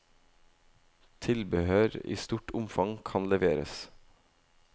Tilbehør i stort omfang kan leveres.